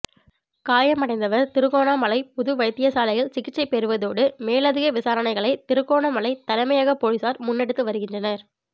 காயமடைந்தவர் திருகோணாமலை பொது வைத்திய சாலையில் சிகிச்சை பெற்றுவருவதோடு மேலதிக விசாரணைகளை திருகோணமலை தலைமையகப் பொலிசார் முன்னெடுத்துவருகின்றனர்